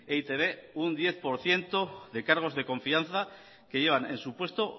e i te be un diez por ciento de cargos de confianza que llevan en su puesto